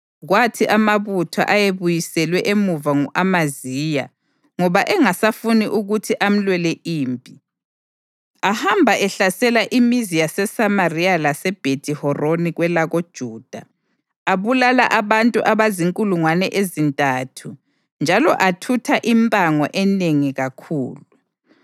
Kwathi amabutho ayebuyiselwe emuva ngu-Amaziya ngoba engasafuni ukuthi amlwele impi, ahamba ehlasela imizi yaseSamariya laseBhethi-Horoni kwelakoJuda. Abulala abantu abazinkulungwane ezintathu njalo athutha impango enengi kakhulu.